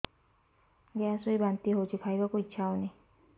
gas ହୋଇ ବାନ୍ତି ହଉଛି ଖାଇବାକୁ ଇଚ୍ଛା ହଉନି